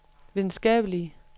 videnskabelige